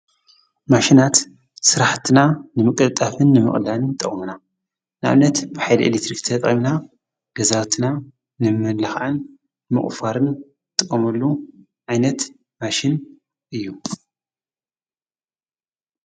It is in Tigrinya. ማሽናት ሥራሕትና ንምቕልጣፍን ንምቕላን ጠውምና ናብነት ብሒድ ኤሌክትሪክ ተጠምና ገዛትና ንምልኻዐን ንመቕፋርን ጥምሉ ኣይነት ማሽን እዩ።